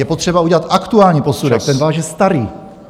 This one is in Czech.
Je potřeba udělat aktuální posudek, ten váš je starý.